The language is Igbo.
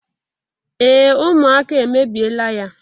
Ee ụmụaka emebiela ya.